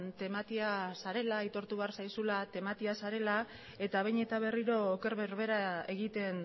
tematia zarela aitortu behar zaizula tematia zarela eta behin eta berriro oker berbera egiten